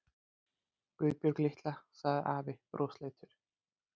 Guðbjörg litla, sagði afi brosleitur.